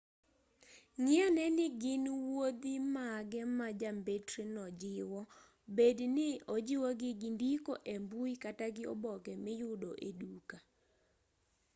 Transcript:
ng'i ane ni gin wuodhi mage ma jambetreno jiwo bed ni ojiwogi gi ndiko e mbui kata gi oboke miyudo e duka